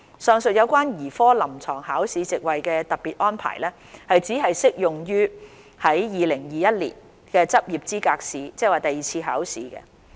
上述有關兒科臨床考試席位的特別安排只適用於2021年執業資格試。